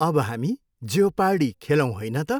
अब हामी जेओपार्डी खेलौँ होइन त?